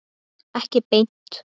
Ekki beint